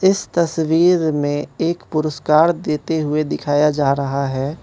इस तस्वीर में एक पुरस्कार देते हुए दिखाया जा रहा है।